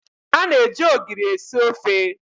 A na eji ogiri esi ofe.